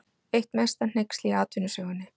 Eitt mesta hneyksli í atvinnusögunni